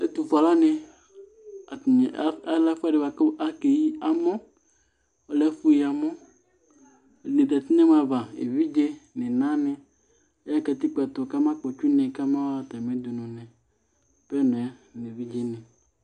Ɛtʋ fue alʋ wanɩ, atanɩ adʋ ɛfʋɛdɩ bʋa kʋ akeyi amɔɔlɛ ɛfʋ yi amɔ, ɛdɩnɩ zati nɛmɔ ava ,evidze n' ɩna nɩ aya nʋ katikpo ɛtʋ kama kpɔtsɩ une kama ɣa atamɩ udunu nɩ ,apenɔɛ nevidze nɩ